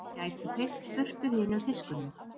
Geti feykt burtu hinum fiskunum.